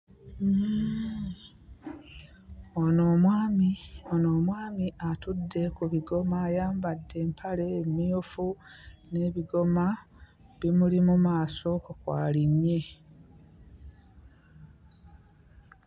Ono omwami ono omwami atudde ku bigoma, ayambadde empale mmyufu n'ebigoma bimuli mu maaso kw'alinnye.